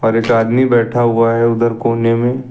और एक आदमी बैठा हुआ है उधर कोने में --